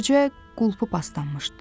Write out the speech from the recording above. Bircə qulpu paslanmışdı.